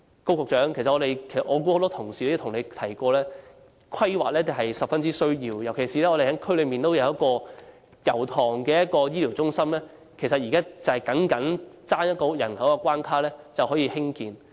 我相信很多同事亦曾向高局長提及，規劃是十分重要的，尤其是我們希望在油塘設置的醫療中心，現在尚待符合有關人口的關卡，便可以興建。